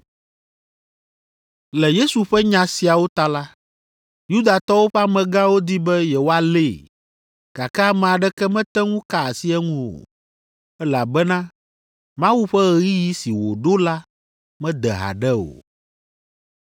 Le Yesu ƒe nya siawo ta la, Yudatɔwo ƒe amegãwo di be yewoalée, gake ame aɖeke mete ŋu ka asi eŋu o, elabena Mawu ƒe ɣeyiɣi si wòɖo la mede haɖe o.